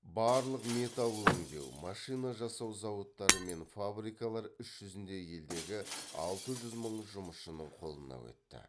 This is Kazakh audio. барлық металл өңдеу машина жасау зауыттары мен фабрикалар іс жүзінде елдегі алты жүз мың жұмысшының қолына өтті